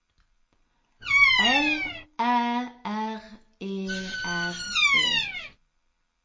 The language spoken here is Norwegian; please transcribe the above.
L Æ R E R E